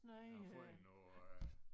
Der er fundet noget øh